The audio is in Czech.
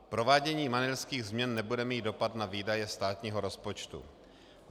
Provádění Manilských změn nebude mít dopad na výdaje státního rozpočtu.